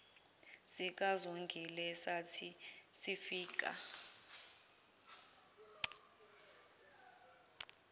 sikazongile sathi sifika